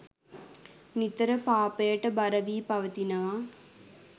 නිතර පාපයට බර වී පවතිනවා.